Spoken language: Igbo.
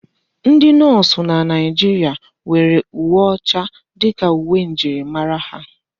Ndi nọọsụ na Naijiria nwere uwe ọcha dịka uwe njirimara ha.